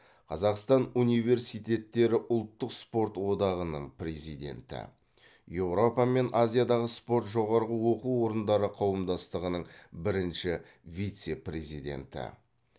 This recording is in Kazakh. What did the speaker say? қазақстан университеттері ұлттық спорт одағының президенті еуропа мен азиядағы спорт жоғарғы оқу орындары қауымдастығының бірінші вице президенті